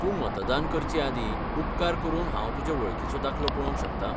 तूं मतदान करचेआदीं, उपकार करून हांव तुजे वळखीचो दाखलो पळोवंक शकतां?